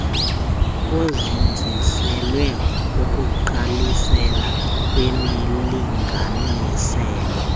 kuzinziselwa ukugqalisela kwimilinganiselo